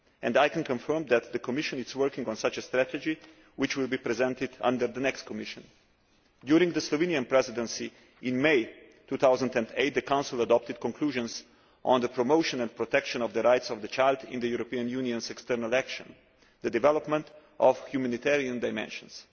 I can confirm that the Commission is working on such a strategy, which will be presented under the next Commission. During the Slovenian Presidency in May 2008, the Council adopted conclusions on the promotion and protection of the rights of the child in the European Union's external action the development of humanitarian dimensions.